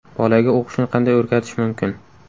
Bolaga o‘qishni qanday o‘rgatish mumkin?.